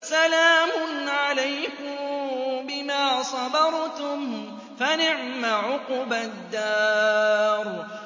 سَلَامٌ عَلَيْكُم بِمَا صَبَرْتُمْ ۚ فَنِعْمَ عُقْبَى الدَّارِ